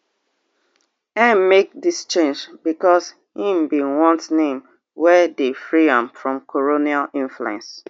ngg make dis change becos im bin want name wey dey free am from colonial influence